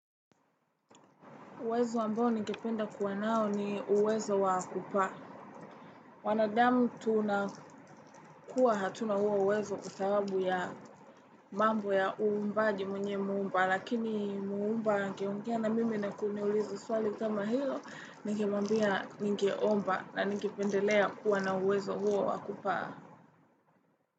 Uwezo ambao ningependa kuwa nao ni uwezo wa kupaa wanadamu tunakuwa hatuna huo uwezo kwa sababu mambo ya uumbaji mwenye umbaji lakini muumba angeongea na mimi na kuniuliza swali kama hilo ningemwambia ningeomba na ningependelea kuwa na uwezo huo wa kupaa.